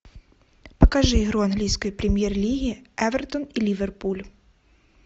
покажи игру английской премьер лиги эвертон и ливерпуль